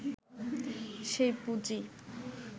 সেই পুঁজি